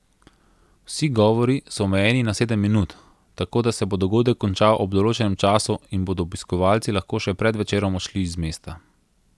Vsi govori so omejeni na sedem minut, tako da se bo dogodek končal ob določenem času in bodo obiskovalci lahko še pred večerom odšli iz mesta.